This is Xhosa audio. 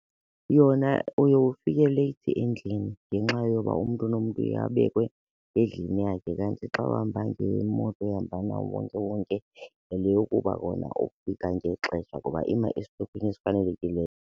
Yona uye ufike leyithi endlini ngenxa yoba umntu nomntu uye abekwe endlini yakhe kanti xa uhamba ngemoto ehamba nawo uwonkewonke yile yokuba wona ukufika ngexesha ngoba ima esitopini esifanelekileyo.